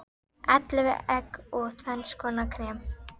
Ellefu egg og tvenns konar krem.